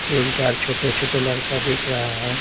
तीन-चार छोटे-छोटे लड़का दिख रहा है।